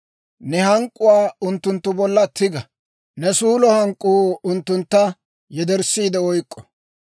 Ne hank'k'uwaa unttunttu bolla tiga; ne suulo hank'k'uu unttuntta yederssiide oyk'k'o.